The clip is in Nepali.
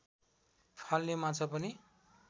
फाल्ने माछा पनि